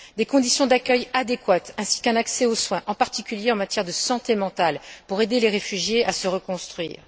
des conditions d'accueil adéquates ainsi qu'un accès aux soins, en particulier en matière de santé mentale, pour aider les réfugiés à se reconstruire